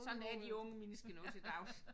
Sådan er de unge mennesker nu til dags